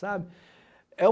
Sabe? É o